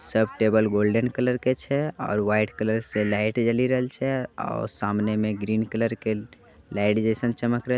सब table golden colour के छै। और व्हाइट कलर से लाइट जली रैल छै। और सामने में ग्रीन कलर के लाइट जयसन चमक रैल--